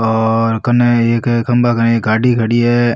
और कने एक खम्भा कने एक गाड़ी खड़ी है।